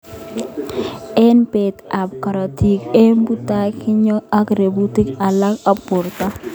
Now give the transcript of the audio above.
Eng beet ab karotik eng abutanik kinyoi ak robutik alak ab borto.